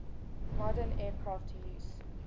modern aircraft use